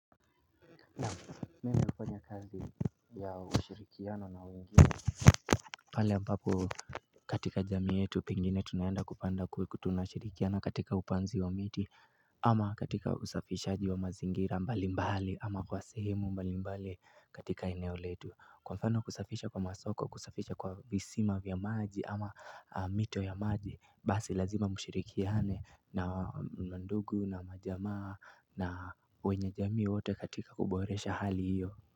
Mimi hufanya kazi ya ushirikiano na wengine pale ampapo katika jami yetu pingine tunayenda kupanda kutunashirikiana katika upanzi wa miti Ama katika usafishaji wa mazingira mbali mbali ama kwa sehemu mbali mbali katika eneo letu Kwa mfano kusafisha kwa masoko kusafisha kwa visima vya maji ama mito ya maji Basi lazima mshirikiane na mandugu na majama na wenye jami wote katika kuboresha hali hiyo.